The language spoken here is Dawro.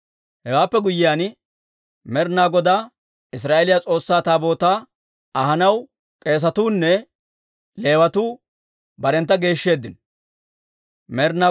Hewaappe guyyiyaan, Med'inaa Godaa Israa'eeliyaa S'oossaa Taabootaa ahanaw k'eesatuu nne Leewatuu barentta geeshsheeddino.